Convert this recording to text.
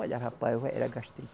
Olha, rapaz, era gastrite